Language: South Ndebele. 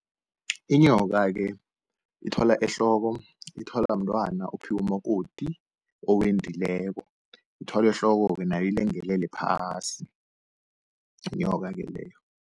Inyoka-ke ithwalwa ehloko, ithwalwa mntwana ophiwa umakoti owendileko. Ithwalwa ehloko-ke nayo ilengelele phasi, inyoka-ke leyo.